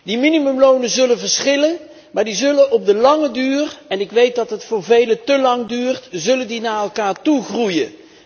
Die minimumlonen zullen verschillen, maar die zullen op de lange duur en ik weet dat het voor velen té lang duurt naar elkaar toe groeien.